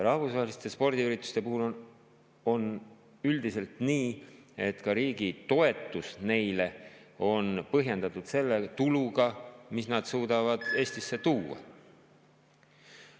Rahvusvaheliste spordiürituste puhul on üldiselt nii, et ka riigi toetus neile on põhjendatud selle tuluga, mida nad suudavad Eestisse tuua.